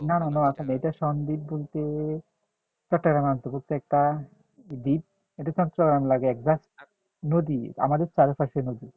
না না নোয়াখালী না এটা সন্দীপ বলতে একটা দ্বীপ এটা নদী আমাদের চারপাশে নদী